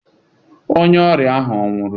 Onye ọrịa ahụ ọ̀ nwụrụ?